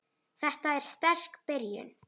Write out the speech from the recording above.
Þetta er sterk byrjun.